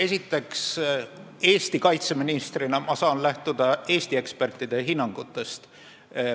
Esiteks, Eesti kaitseministrina ma saan lähtuda Eesti ekspertide hinnangutest.